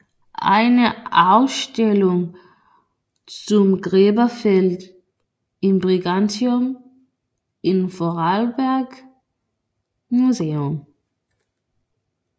Eine Ausstellung zum Gräberfeld in Brigantium im vorarlberg museum